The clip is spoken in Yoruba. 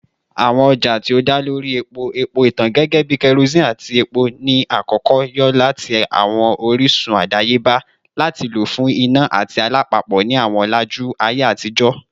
Awọn ọja ti o da lori epo-epo itan gẹgẹbi kerosene ati epo ni akọkọ yo lati awọn orisun adayeba ati lo fun ina ati alapapo ni awọn ọlaju atijọ.